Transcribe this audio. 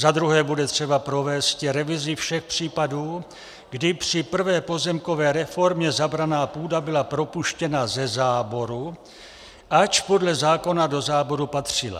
Za druhé bude třeba provésti revizi všech případů, kdy při prvé pozemkové reformě zabraná půda byla propuštěna ze záboru, ač podle zákona do záboru patřila.